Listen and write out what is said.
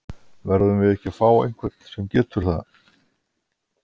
Verðum við ekki að fá einhvern sem getur það?